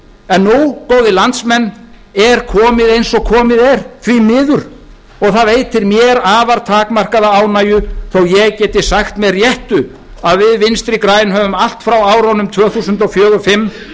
en nú góðir landsmenn er komið eins og komið er því miður og það veitir mér afar takmarkaða ánægju þó að ég geti sagt með réttu að við vinstri græn höfum allt frá árunum tvö þúsund og fjögur tvö þúsund og fimm